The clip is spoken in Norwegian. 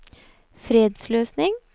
fredsløsning